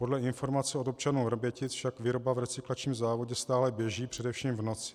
Podle informací od občanů Vrbětic však výroba v recyklačním závodě stále běží, především v noci.